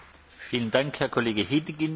Panie przewodniczący!